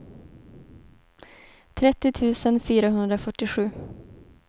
trettio tusen fyrahundrafyrtiosju